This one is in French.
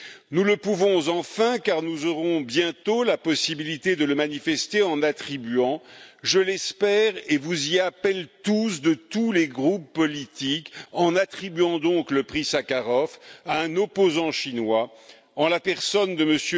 Nous le pouvons, enfin, car nous aurons bientôt la possibilité de le manifester en attribuant, je l'espère et vous y appelle tous, de tous les groupes politiques, en attribuant donc le prix Sakharov à un opposant chinois en la personne de M.